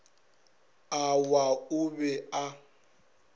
a wa o be a